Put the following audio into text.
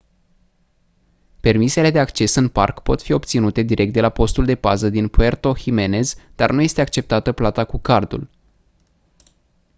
permisele de acces în parc pot fi obținute direct de la postul de pază din puerto jiménez dar nu este acceptată plata cu cardul